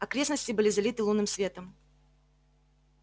окрестности были залиты лунным светом